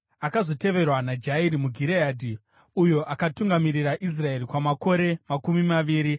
Akazoteverwa naJairi muGireadhi, uyo akatungamirira Israeri kwamakore makore makumi maviri.